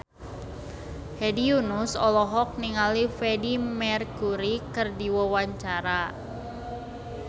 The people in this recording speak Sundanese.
Hedi Yunus olohok ningali Freedie Mercury keur diwawancara